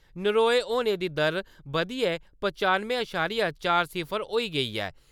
नरोए होने दी दर बधियै पचानुएं अशारिया चार सिफर होई गेई ऐ ।